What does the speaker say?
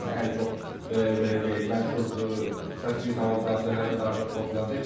Yəni biz ən çox belə deyək, məşhur səs-küy salan transferləri daha çox toxunacağıq.